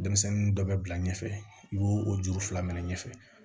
Denmisɛnnin dɔ bɛ bila ɲɛfɛ i b'o o juru fila minɛ ɲɛfɛ